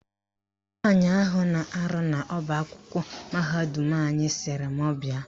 Nwaanyị ahụ na-arụ n'ọbaakwụkwọ mahadum anyị sịrị m bịa.